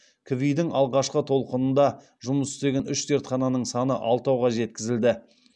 кви дің алғашқы толқынында жұмыс істеген үш зертхананың саны алтауға жеткізілді